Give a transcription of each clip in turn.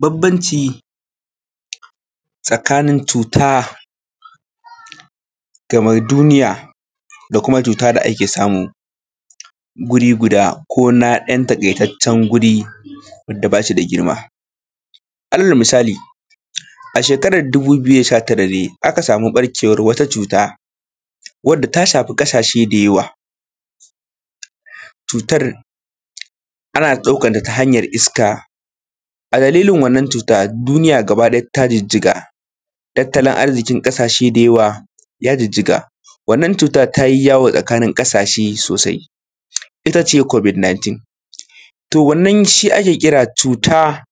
Bambanci tsakanin cuta game duniya da kuma cuta da ake samu guri guda ko na ɗan takaitaccen guri guda alal misali a shekara 2019 ne aka samu ɓarkewar wata cuta wanda ta shafi kasashe da yawa cutar ana daukar ta ta hanyar iska. Dalilin wannan cuta Duniya gaba ɗaya ta jijjiga tattalin arzikin ƙasashe ya girgiza. Wannan cuta dai ta yi yawo a ƙasashe sosai ita ce covid-19. In shi ake kira cuta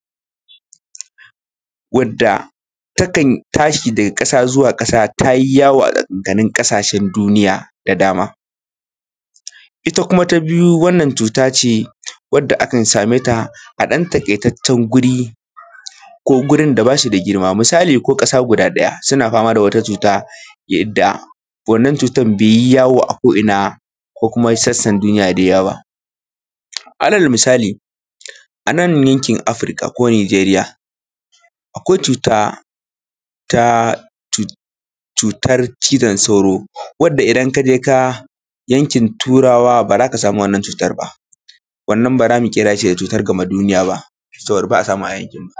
wanda takan tashi daga ƙasa zuwa ƙasa ta yi yawo a tsakankanin ƙasashen duniya da dama. Ita kuma ta biyu wannan cuta ce wanda akan same ta a ɗan takaitaccen guri da ba shi da girma. Misali ko ƙasa guda ɗaya suna fama da wata cuta wanda wannan cutar bai yi yawo a ko'ina ba ko kuma sassan duniya da yawa ba. Alal misali a nan yankin Afrika ko Nijeriya ta cutar cizon sauro amma a yankin turawa ba za ka samun wannan cutar ba wannan ba za mu kira shi cutar game duniya ba saboda ba samu a yankinmu.